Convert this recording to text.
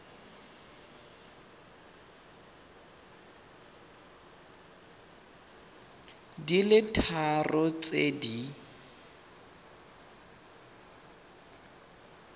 di le tharo tse di